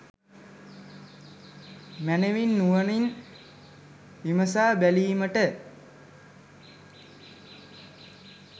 මැනවින් නුවණින් විමසා බැලීමට